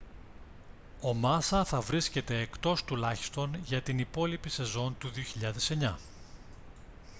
ο μάσα θα βρίσκεται εκτός τουλάχιστον για την υπόλοιπη σεζόν του 2009